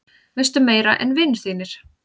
Veistu meira en vinir þínir?